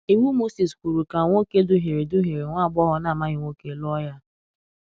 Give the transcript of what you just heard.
Iwu Mosis kwuru ka nwoke duhiere duhiere nwa agbọghọ na-amaghị nwoke lụọ ya.